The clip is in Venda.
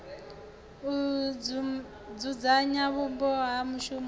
u dzudzanya vhupo ha mushumoni